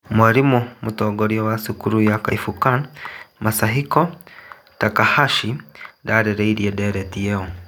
Mwarimo mũtongoria wa cukuru ĩyo Kaifukan Masahiko Takahashi ndarĩrĩrie ndereti ĩyo